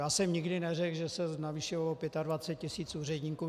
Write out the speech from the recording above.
Já jsem nikdy neřekl, že se navýšilo o 25 tis. úředníků.